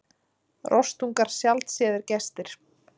Rostungar sjaldséðir gestir